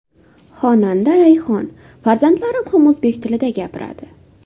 Xonanda Rayhon: Farzandlarim ham o‘zbek tilida gapiradi.